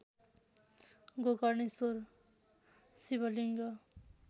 Gokarneshwar Shivling